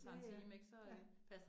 Ja ja, ja